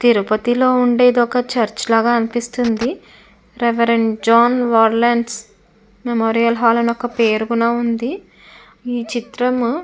తిరుపతిలో ఉండేది ఒక చర్చ్ లాగా అనిపిస్తుంది. రేవ్ జాన్ వర్రీలెన్స్ మెమోరియల్ హాల్ అని ఒక్క పేరు కోడా ఉంది. ఈ చిత్రము --